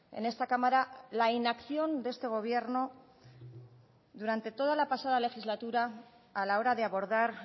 en esta cámara la inacción de este gobierno durante toda la pasada legislatura a la hora de abordar